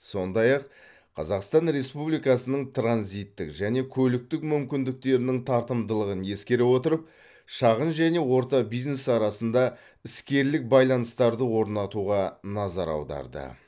сондай ақ қазақстан республикасының транзиттік және көліктік мүмкіндіктерінің тартымдылығын ескере отырып шағын және орта бизнес арасында іскерлік байланыстарды орнатуға назар аударды